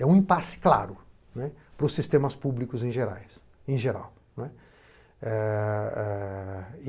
É um impasse claro para os sistemas públicos em geral.